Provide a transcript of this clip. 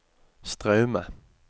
Straume